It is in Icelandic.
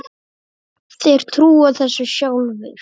Þeir trúa þessu sjálfir